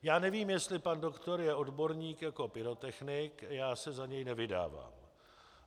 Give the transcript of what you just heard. Já nevím, jestli pan doktor je odborník jako pyrotechnik, já se za něj nevydávám.